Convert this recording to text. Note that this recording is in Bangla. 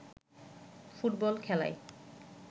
ফুটবল খেলায়